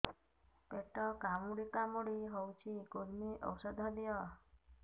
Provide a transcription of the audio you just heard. ପେଟ କାମୁଡି କାମୁଡି ହଉଚି କୂର୍ମୀ ଔଷଧ ଦିଅ